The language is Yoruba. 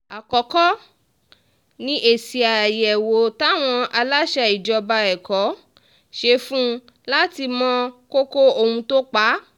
àkọ́kọ́ ni èsì àyẹ̀wò táwọn aláṣẹ ìjọba ẹ̀kọ́ ṣe fún un láti mọ kókó ohun tó pa á